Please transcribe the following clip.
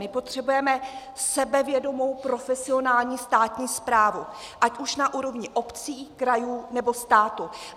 My potřebujeme sebevědomou profesionální státní správu ať už na úrovni obcí, krajů, nebo státu.